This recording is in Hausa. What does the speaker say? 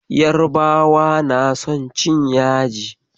Yarabawa na son cin yaji.